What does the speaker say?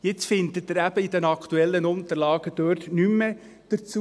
Jetzt finden Sie in den aktuellen Unterlagen eben nichts mehr dazu.